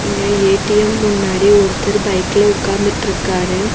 இங்க ஏ_டி_எம் முன்னாடி ஒருத்தர் பைக்ல உக்காந்துட்ருக்காரு.